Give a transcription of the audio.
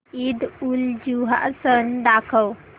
ईदउलजुहा सण दाखव